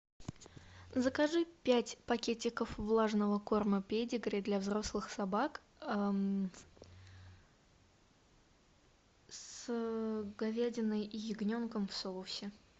закажи пять пакетиков влажного корма педигри для взрослых собак с говядиной и ягненком в соусе